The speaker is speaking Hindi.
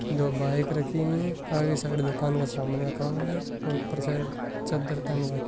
दो बाईक रखी हुई है आगे साइड दुकान का सामान रखा हुआ है और ऊपर साईड चद्दर तंग --